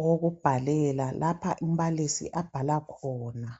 owokubhalela lapha umbalisi abhala khona.